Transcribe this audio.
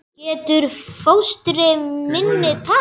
Getur fóstri minn tapað?